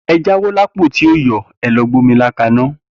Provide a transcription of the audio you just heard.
Eja won la pon ti o yo ẹlo gbe omi ila ka na.